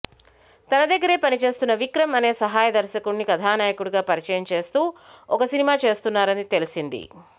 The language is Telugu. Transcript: తన దగ్గరే పనిచేస్తున్న విక్రమ్ అనే సహాయ దర్శకుడిని కథానాయకుడిగా పరిచయం చేస్తూ ఓ సినిమా చేస్తున్నారని తెలిసింది